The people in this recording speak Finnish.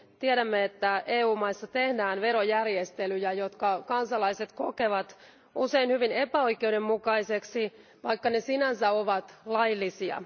Tiedämme, että EU maissa tehdään verojärjestelyjä, jotka kansalaiset kokevat usein hyvin epäoikeudenmukaisiksi, vaikka ne sinänsä ovat laillisia.